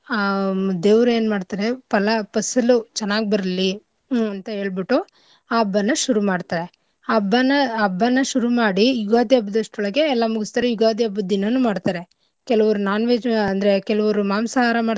ಆ ದೇವ್ರ್ ಎನ್ಮಾಡ್ತರೆ ಪಲಾ ಫಸಲು ಚೆನ್ನಾಗ್ ಬರ್ಲಿ ಹ್ಮ್ ಅಂತ ಹೇಳ್ಬಿಟ್ಟು ಆ ಹಬ್ಬನ ಶುರು ಮಾಡ್ತರೆ ಹಬ್ಬನ ಹಬ್ಬನ ಶುರು ಮಾಡಿ ಯುಗಾದಿ ಹಬ್ಬದ್ಷ್ಟ್ರೊಳಗೆ ಮುಗುಸ್ತರೆ ಯುಗಾದಿ ಹಬ್ಬದ್ ದಿನನೂ ಮಾಡ್ತರೆ. ಕೆಲವ್ರು non-veg ಅಂದ್ರೆ ಕೆಲವ್ರು ಮಾಂಸಾಹಾರ ಮಾಡ್ತರೆ.